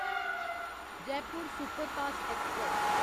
Jaipur superfast express